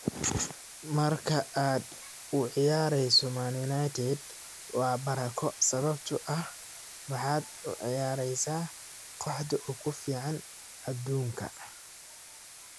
Marka aad u ciyaareyso Man United waa barako sababtoo ah waxaad u ciyaareysaa kooxda ugu fiican adduunka.